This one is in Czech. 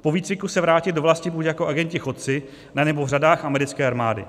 po výcviku se vrátit do vlasti buď jako agenti chodci, anebo v řadách americké armády.